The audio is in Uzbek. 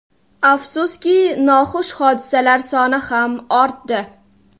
Afsuski, noxush hodisalar soni ham ortdi.